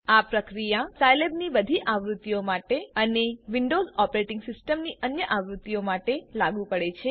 આ પ્રક્રિયા સાઈલેબની બધી આવૃત્તિઓ માટે અને વિન્ડોવ્ઝ ઓપરેટીંગ સિસ્ટમની અન્ય આવૃત્તિઓ માટે લાગુ પડે છે